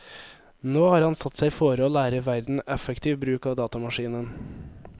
Nå har han satt seg fore å lære verden effektiv bruk av datamaskinen.